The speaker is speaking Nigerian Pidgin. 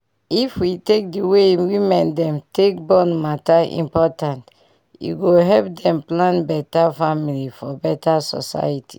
if we take d way women dem take born matter important e go help dem plan beta family for beta society